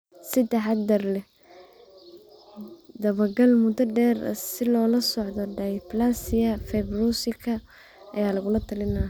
Si taxadar leh, dabagal muddo dheer ah si loola socdo dysplasia fibrouska ayaa lagula talinayaa.